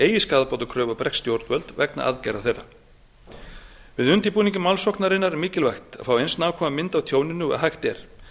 eigi skaðabótakröfu á bresk stjórnvöld vegna aðgerða þeirra við undirbúning málssóknarinnar er mikilvægt að fá eins nákvæma mynd af tjóninu og hægt er